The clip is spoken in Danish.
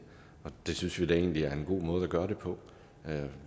det synes vi da egentlig er en god måde at gøre det på